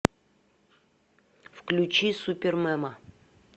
включи супермема